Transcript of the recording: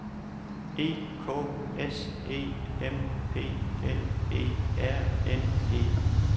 E K S E M P L E R N E